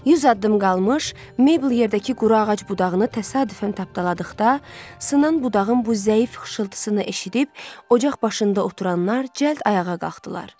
Yüz addım qalmış, Meybl yerdəki quru ağac budağını təsadüfən tapdaladıqda, sınan budağın bu zəif xışıltısını eşidib, ocaq başında oturanlar cəld ayağa qalxdılar.